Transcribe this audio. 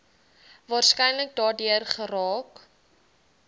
waarskynlik daardeur geraak